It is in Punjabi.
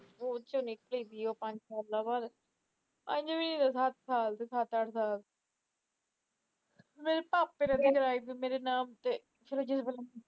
ਉਸ ਦੇ ਵਿੱਚ ਸੱਤ ਅੱਠ ਸਾਸ ਮੇੇਰੇ ਭਾਪੇ ਨੇ ਤੇ ਕਰਾਏਵੇ ਮੇਰੇ ਨਾਮ ਤੇ